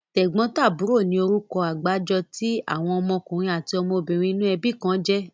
Tẹ̀gbọ́ntàbúrò ni orúkọ àgbájọ tí àwọn ọmọkùnrin àti ọmọbìnrin inú ẹbí kan jẹ́.